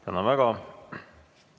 Tänan väga!